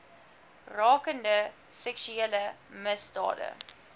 rakende seksuele misdade